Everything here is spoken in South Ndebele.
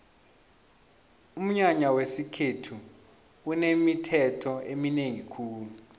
umnyanya wesikhethu unemithetho eminengi khulu